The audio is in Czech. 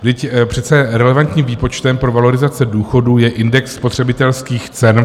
Vždyť přece relevantním výpočtem pro valorizace důchodů je index spotřebitelských cen.